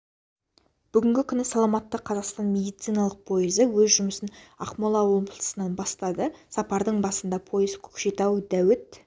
бүгінгі күні саламатты қазақстан медициналық пойызы өз жұмысын ақмола облысынан бастады сапардың басында пойыз көкшетау дәуіт